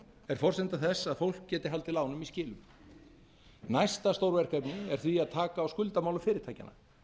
er forsenda þess að fólk geti haldið lánum í skilum næsta stórverkefni er því að taka á skuldamálum fyrirtækjanna